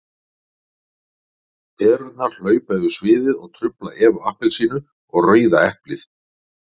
Perurnar hlaupa yfir sviðið og trufla Evu appelsínu og Rauða eplið.